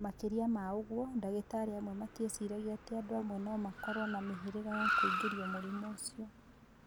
Makĩria ma ũguo, ndagĩtarĩ amwe metiĩciragia atĩ andũ amwe no makorũo na mĩhĩrĩga ya kũingĩrio mũrimũ ũcio.